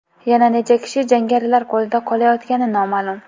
Yana necha kishi jangarilar qo‘lida qolayotgani noma’lum.